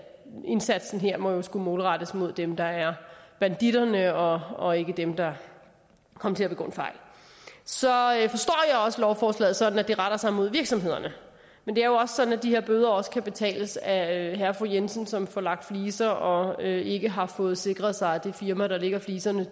indsatsen her må skulle målrettes dem der er banditterne og og ikke dem der kom til at begå en fejl så forstår jeg også lovforslaget sådan at det retter sig mod virksomhederne men det er jo sådan at de her bøder også kan betales af herre og fru jensen som får lagt fliser og ikke har fået sikret sig at det firma der lægger fliserne